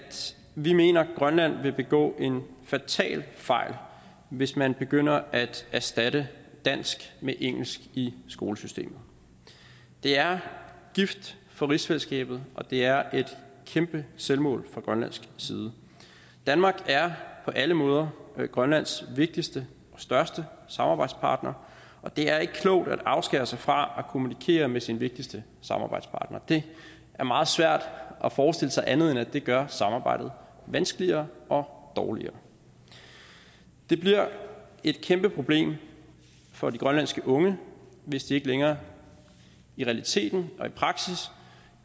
vi mener at grønland vil begå en fatal fejl hvis man begynder at erstatte dansk med engelsk i skolesystemet det er gift for rigsfællesskabet og det er et kæmpe selvmål fra grønlandsk side danmark er på alle måder grønlands vigtigste og største samarbejdspartner og det er ikke klogt at afskære sig fra kommunikere med sin vigtigste samarbejdspartner det er meget svært at forestille sig andet end at det gør samarbejdet vanskeligere og dårligere det bliver et kæmpe problem for de grønlandske unge hvis de ikke længere i realiteten og i praksis